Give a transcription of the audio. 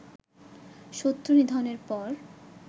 শত্রু নিধনের পর